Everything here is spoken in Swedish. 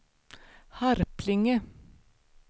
Harplinge